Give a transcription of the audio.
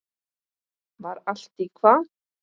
Var allt í hvað?